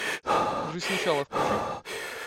жизнь сначала включи